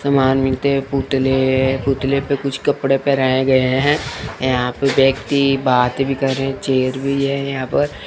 सामान मिलते पुतले पुतले पे कुछ कपड़े पहेराए गए हैं यहां पे व्यक्ति बात भी करें रहे चेयर भी है यहां पर --